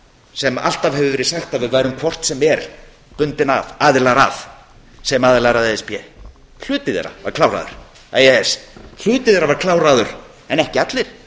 sem alltaf hefur verið sagt að við værum hvort sem er aðilar að sem aðilar að e e s hluti þeirra var kláraður en ekki allir